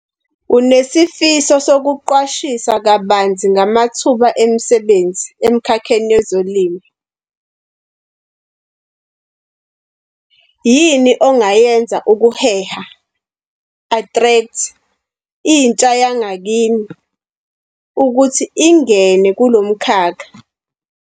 Unesifiso sokuqwashisa kabanzi ngamathuba emisebenzi emkhakheni wezolimo . Yini ongayenza ukuheha, attract intsha yangakini ukuthi ingene kulo mkhakha?